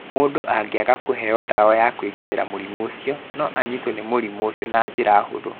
Mũndũ angĩaga kũheo ndawa ya kũgitĩra mũrimũ ũcio, no anyitwo nĩ mũrimũ ũcio na njĩra hũthũ.